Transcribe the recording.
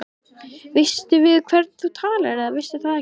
Veistu við hvern þú talar eða veistu það ekki.